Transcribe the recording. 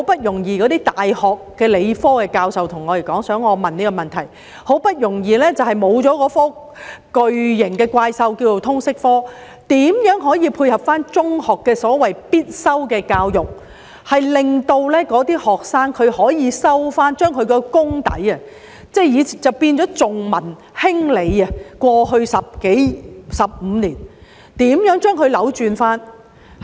那些大學的理科系教授想我提出這個問題，現在好不容易沒有了那個叫作"通識科"的巨型怪獸，那麼如何可以配合中學的所謂"必修的教育"，令那些學生可以修讀某些科目，加厚他們的理科功底，扭轉過去15年重文輕理的情況？